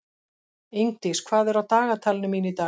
Ingdís, hvað er á dagatalinu mínu í dag?